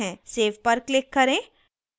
save पर click करें